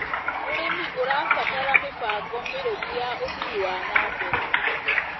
ũrĩmi ũrabatara mĩbango mĩrũmu ya ũthii wa na mbere.